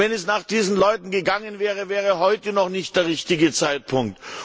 Wenn es nach diesen Leuten gegangen wäre, wäre heute noch nicht der richtige Zeitpunkt.